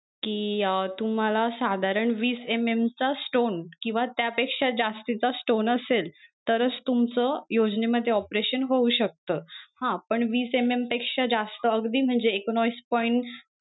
कि अं तुम्हाला साधारण वीस MM चा stone किंवा त्या पेक्षा जास्तीचा stone असेल तरच तुमचं योजनेमध्ये operation होऊ शकत हा पण वीस MM पेक्षा जास्त अगदी म्हणजे एकोनाविस point